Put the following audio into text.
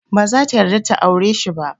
Baza ta yarda ta aure shi ba.